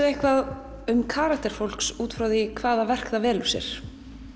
eitthvað um karakter fólks út frá því hvaða verk það velur sér